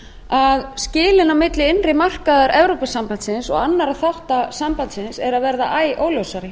að skilin á milli innri markaðar evrópusambandsins og annar þátta sambandsins eru að verða æ óljósari